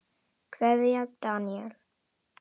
Kveðja, Daníel.